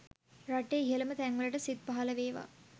රටේ ඉහළම තැන්වලට සිත් පහළ වේවා